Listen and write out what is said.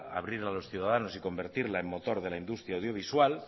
abrir a los ciudadanos y convertirla en motor de la industria audiovisual